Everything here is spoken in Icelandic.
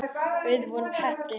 Við vorum heppni.